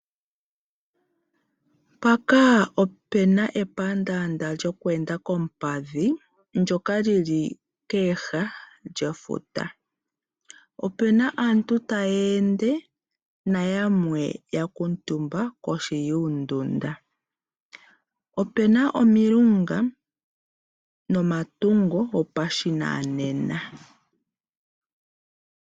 Mpaka opena epandaanda lyoku enda koompadhi ndyoka lili koha dhefuta. Opena aantu taya ende nayamwe yakumutumba kohi yuundunda. Opena omilunga nomatungo gopashinanena.